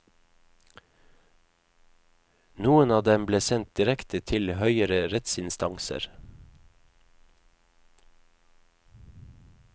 Noen av dem ble sendt direkte til høyere rettsinstanser.